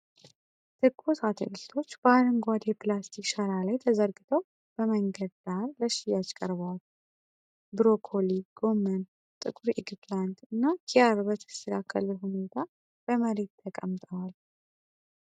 ትኩስ አትክልቶች በአረንጓዴ የፕላስቲክ ሸራ ላይ ተዘርግተው በመንገድ ዳር ለሽያጭ ቀርበዋል። ብሮኮሊ፣ ጎመን፣ ጥቁር ኤግፕላንት እና ኪያር በተስተካከለ ሁኔታ በመሬት ተቀምጠዋል።